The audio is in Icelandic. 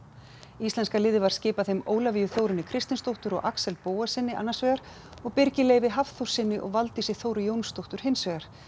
íslenska liðið var skipað þeim Ólafíu Þórunni Kristinsdóttur og Axel Bóassyni annars vegar og Birgi Leifi Hafþórssyni og Valdísi Þóru Jónsdóttur hins vegar